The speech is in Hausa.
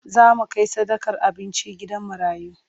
Za mu kai sadakar abinci gidan marayu.